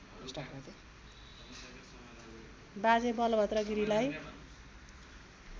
बाजे बलभद्र गिरीलाई